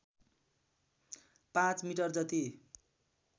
पाँच मिटर जति